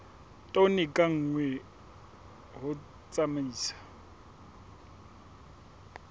tone ka nngwe ho tsamaisa